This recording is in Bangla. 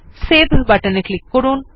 সেভ বাটনে ক্লিক করুন